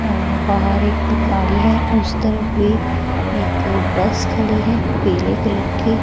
और बाहर एक गाड़ी है उस तरफ भी एक बस खड़ी है पीले कलर की।